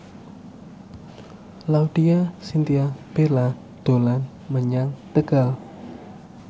Laudya Chintya Bella dolan menyang Tegal